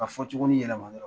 Ka fɔ cogoni yɛlɛma an yɛrɛ kɔnɔ